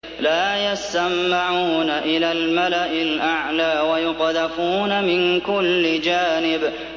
لَّا يَسَّمَّعُونَ إِلَى الْمَلَإِ الْأَعْلَىٰ وَيُقْذَفُونَ مِن كُلِّ جَانِبٍ